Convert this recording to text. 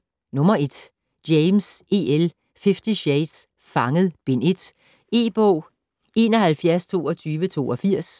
James, E. L.: Fifty shades: Fanget: Bind 1 E-bog 712282